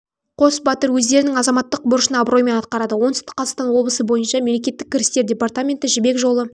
батыр өздерінің азаматтық борышын абыроймен атқарады оңтүстік қазақстан облысы бойынша мемлекеттік кірістер департаменті жібек жолы